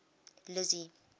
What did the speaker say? lizzy